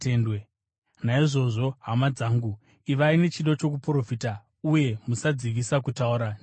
Naizvozvo, hama dzangu, ivai nechido chokuprofita, uye musadzivisa kutaura nendimi.